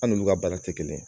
An n'ulu ka baara tɛ kelen ye.